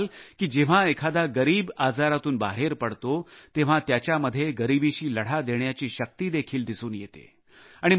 आपण पहाल की जेव्हा एखादा गरीब आजारातून बाहेर पडतो तेव्हा त्याच्यामध्ये गरीबीशी लढा देण्याची शक्ती देखील दिसून येते